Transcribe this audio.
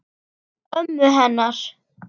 Ömmu hennar.